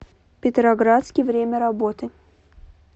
петроградский время работы